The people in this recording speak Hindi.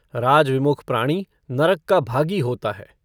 राजविमुख प्राणी नरक का भागी होता है।